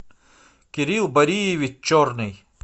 кирилл бариевич черный